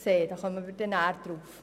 Darauf kommen wir nachher zurück.